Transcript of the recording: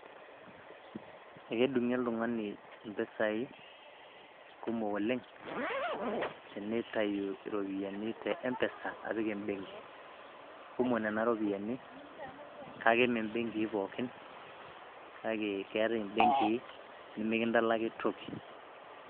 Ekedung'i oltung'ani impisai kumok oleng',teneitayu iropiyiani te M-PESA, apik ebenki. Kumok nena ropiyaiani, kake me benkii pookin, kake keetae ibenkii, nimikindalaki toki.